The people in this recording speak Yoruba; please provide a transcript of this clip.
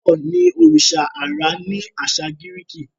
thor ní oriṣa ãrá ni aṣa Giriki.